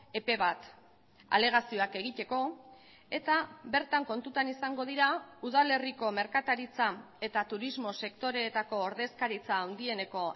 epe bat alegazioak egiteko eta bertan kontutan izango dira udalerriko merkataritza eta turismo sektoreetako ordezkaritza handieneko